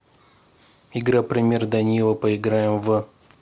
игра пример данила поиграем в